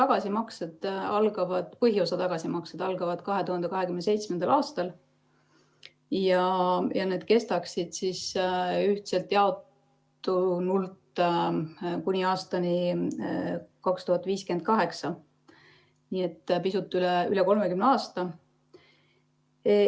Selle laenu põhiosa tagasimaksed algavad 2027. aastal ja need kestaksid ühtselt jaotunult kuni aastani 2058, nii et pisut üle 30 aasta.